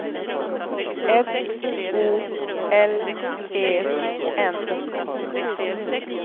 S O L E N